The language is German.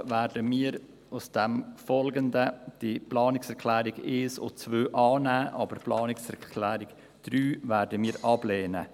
Deshalb werden wir die Planungserklärungen 1 und 2 annehmen, aber die Planungserklärung 3 ablehnen.